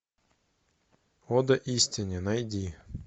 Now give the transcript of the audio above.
ода истине найти